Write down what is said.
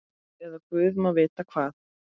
Eða guð má vita hvað.